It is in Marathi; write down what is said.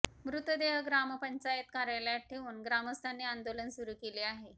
मृतदेह ग्रामपंचायत कार्यालयात ठेवून ग्रामस्थांनी आंदोलन सुरू केले आहे